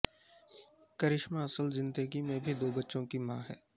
کرشمہ اصل زندگی میں بھی دو بچوں کی ماں ہے